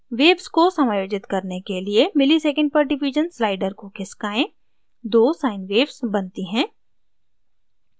waves तरंगों को समायोजित करने के लिए msec/div slider को खिसकाएँ दो sine waves बनती हैं